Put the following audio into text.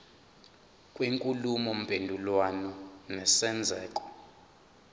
kwenkulumo mpendulwano nesenzeko